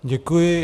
Děkuji.